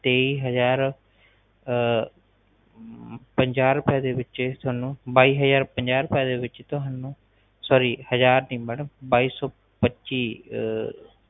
ਤੇਈ ਹਜਾਰ ਅਹ ਪੰਜਾਹ ਰੁਪਏ ਦੇ ਵਿਚ ਤੁਹਾਨੂੰ ਬਾਈ ਹਜਾਰ ਪੰਜਾਹ ਰੁਪਏ ਦੇ ਵਿਚ ਤੁਹਾਨੂੰ sorry ਹਜਾਰ ਨਹੀਂ ਮੈਡਮ ਬਾਈ ਸੋ ਪੱਚੀ